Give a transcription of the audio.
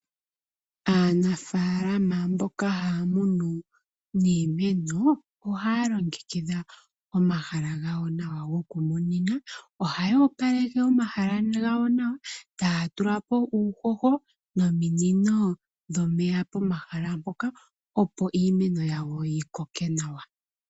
Aanafalama mboka haya munu niimeno oha ya longekidha omahala gawo nawa gokumunina oha ya opaleke omahala gawo nawa e taya tulapo uuhoho nominino dhomeya pomahala mpoka opo iimeno yawo yi koke nawa.